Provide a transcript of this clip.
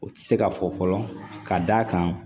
O tɛ se ka fɔ fɔlɔ ka d'a kan